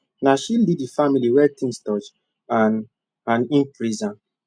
na she lead the family when things tough and and him praise am